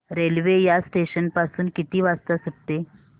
railway या station पासून किती वाजता सुटते